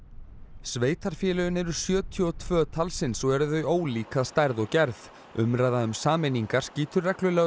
sveitarfélögin eru sjötíu og tvö talsins og eru þau ólík að stærð og gerð umræða um sameiningar skýtur reglulega upp